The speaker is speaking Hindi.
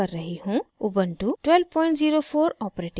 Ubuntu 1204 operating system